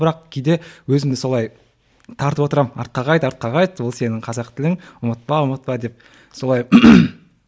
бірақ кейде өзімді солай тартып отырамын артқа қайт артқа қайт ол сенің қазақ тілің ұмытпа ұмытпа деп солай